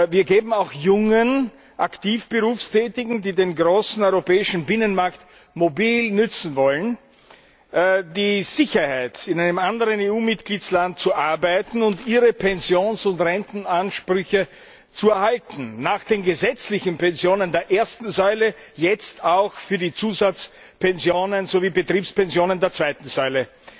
Wir geben auch jungen aktiv Berufstätigen, die den großen europäischen Binnenmarkt mobil nützen wollen, die Sicherheit, in einem anderen EU Mitgliedstaat zu arbeiten und ihre Pensions und Rentenansprüche zu erhalten nach den gesetzlichen Pensionen der ersten Säule jetzt auch für die Zusatzpensionen sowie Betriebspensionen der zweiten Säule.